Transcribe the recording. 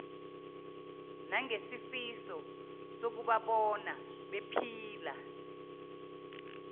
nangesifiso sokubabona bephila